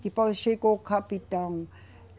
Depois chegou o capitão.